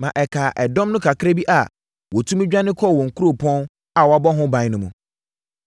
ma ɛkaa ɛdɔm no kakra bi a wɔtumi dwane kɔɔ wɔn nkuropɔn a wɔabɔ ho ban no mu.